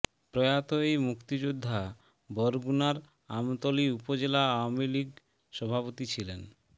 প্রয়াত এই মুক্তিযোদ্ধা বরগুনার আমতলী উপজেলা আওয়ামী লীগ সভাপতি ছিলেন